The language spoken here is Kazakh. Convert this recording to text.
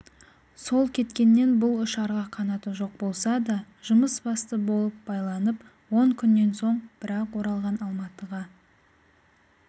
сол кеткеннен бұл ұшарға қанаты жоқ болса да жұмыс басты болып байланып он күннен соң бір-ақ оралған алматыға